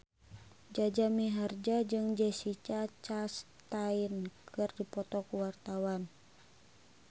Jaja Mihardja jeung Jessica Chastain keur dipoto ku wartawan